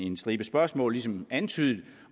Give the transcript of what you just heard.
en stribe spørgsmål ligesom antydet